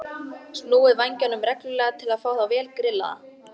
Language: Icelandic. Snúið vængjunum reglulega til að fá þá vel grillaða.